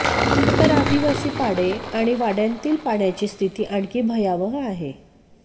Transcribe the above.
तर आदिवासी पाडे आणि वाडय़ांतील पाण्याची स्थिती आणखी भयावह आहे